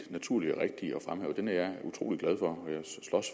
naturlig og rigtig at fremhæve den er jeg utrolig glad for